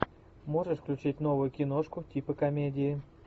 можешь включить новую киношку типа комедии